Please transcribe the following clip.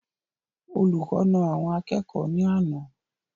Olùkọ naa àwọn akẹ́kọ̀ọ́ ní àná